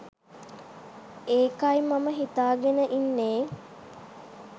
ඒකයි මම හිතාගෙන ඉන්නේ